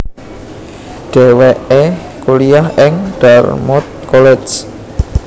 Dhèwèké kuliah ing Dartmouth College